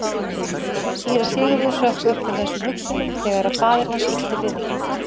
Síra Sigurður hrökk upp úr þessum hugsunum þegar að faðir hans ýtti við honum.